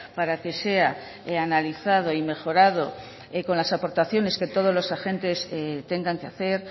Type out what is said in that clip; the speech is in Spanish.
para que sea analizado y mejorado con las aportaciones que todos los agentes tengan que hacer